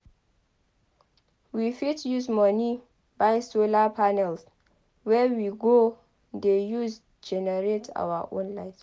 We fit use moni buy solar panels wey we go de use generate our own light